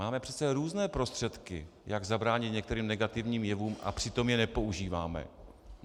Máme přece různé prostředky, jak zabránit některým negativním jevům, a přitom je nepoužíváme.